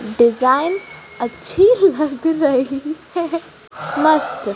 design अच्छी लग रही है मस्त--